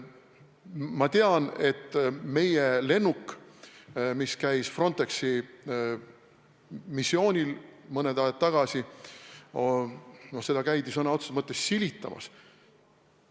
Ma tean, et meie lennukit, mis käis Frontexi missioonil mõni aeg tagasi, käidi sõna otseses mõttes silitamas.